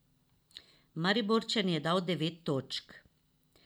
Mariborčan je dal devet točk.